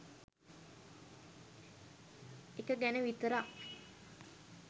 එක ගැන විතරක්